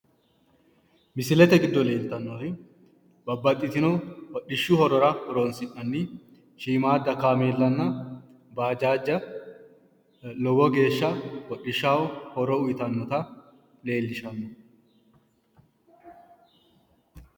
Misilete giddo leeltannori babbaxxitino hodhishshu horora horoonsi'nanniha shiimaadda kaameellanna bajaajja lowo geeshsha hodhishshaho horo uyitannota leellishanno.